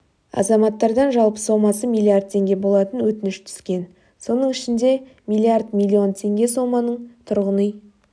азаматтардан жалпы сомасы миллиард теңге болатын өтініш түскен соның ішінде миллиард миллион теңге соманың тұрғын үй